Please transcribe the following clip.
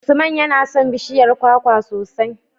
Usman yana son bishiyar kwakwa sosai.